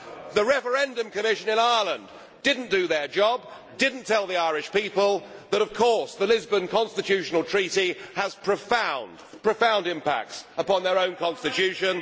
The Referendum Commission in Ireland did not do its job, did not tell the Irish people that of course, the Lisbon constitutional treaty has profound impacts on their own constitution